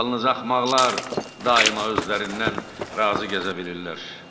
Yalnız axmaqlar daima özlərindən razı gəzə bilirlər.